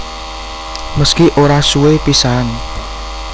Meski ora suwe pisahan